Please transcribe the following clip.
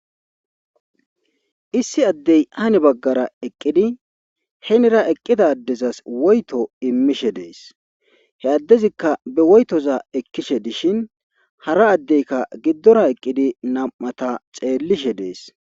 Issi addey ane baggara eqqidi henira eqqida addezas woyto immishe dees he addezikka be woytoza ekkishe dishin hara addeyka giddora eqqidi nam'ata xeellishe dees.